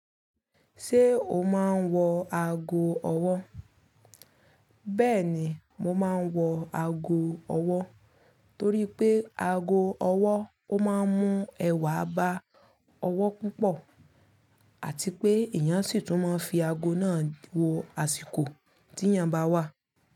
Ṣé o máa ń wọ ago ọwọ́? Bẹ́ẹ̀ni, mo máa ń wọ ago ọwọ́ torí pé ago ọwọ́ ó máa ń mú ẹwà bá ọwọ́ púpọ̀ àti pé eyàn sì tún máa ń fi ago náà wo àsìkò tí ìyàn bá wà.